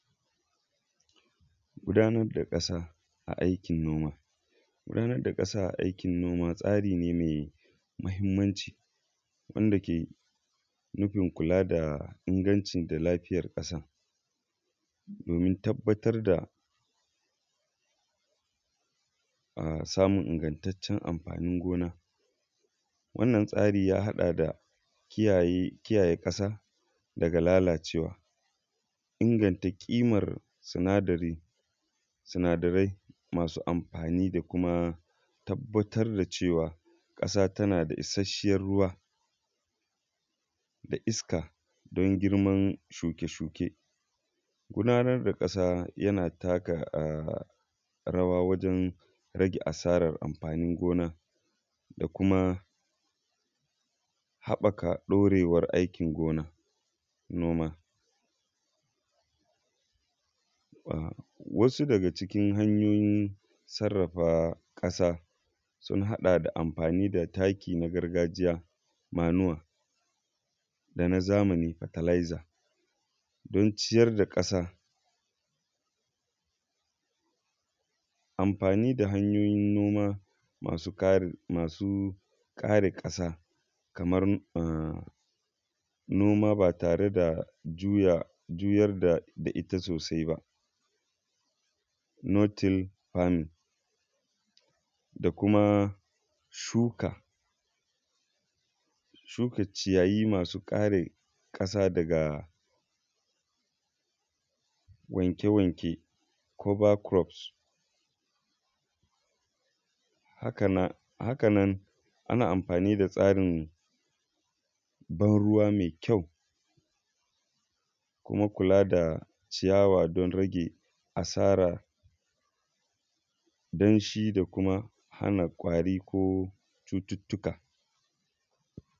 Gudanar da ƙasa a aikin noma, gudanar da ƙasa tsari ne mai mahimmanci wanda ke nufin kula da lafiyar ƙasa domin tabbatar da samun ingantaccen amfanin gona. Wannan tsarin ya haɗa da kiyaye ƙasa daga lalacewa da ƙimar sinadarin amfanin gona, tabbatar da cewa ƙasa tana da isasshen ruwa da iska don girman shuke-shuke. Gudanar da ƙasa yana taka rawa wajen rage asarar amfani gona da kuma haɓɓaka ɗaurewar aikin gona kuma. Wasu daga cikn hanyoyin sarrafa ƙasa sun haɗa da amfani da taki ma gargajiya wato manua da na zamani fertilizer, amfani da hanyoyi noma masu ƙare ƙasa kamar noma ba tare juyar da ita sosai ba. Nottle Farming da kuma shuka. Shuka ciyayi masu ƙare ƙasa daga wanke-wanke wato cover crops .haka nan ana amfani da tsarin ban ruwa mai ƙyau kuma kula da ciyawa don rage asara danshi da kumahana kwari ko cututtuka.